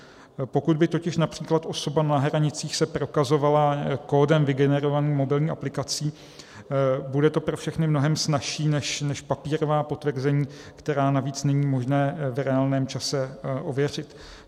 Pokud by totiž například osoba na hranicích se prokazovala kódem vygenerovaným mobilní aplikací, bude to pro všechny mnohem snazší než papírová potvrzení, která navíc není možné v reálném čase ověřit.